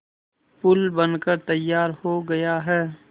पुल बनकर तैयार हो गया है